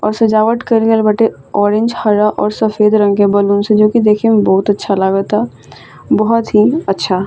और सजावट कइल गइल बाटे ऑरेंज हरा और सफ़ेद रंग के बैलून से जो की देखे में बहुत अच्छा लागता बहुत ही अच्छा।